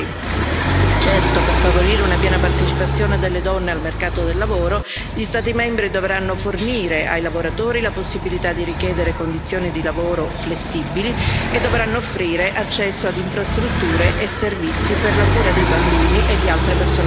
Certo, per favorire una piena partecipazione delle donne al mercato del lavoro, gli Stati membri dovranno fornire ai lavoratori la possibilità di richiedere condizioni di lavoro flessibili e dovranno offrire accesso ad infrastrutture e servizi per la cura dei bambini e di altre persone a carico.